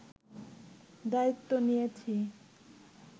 দায়িত্ব নিয়েছি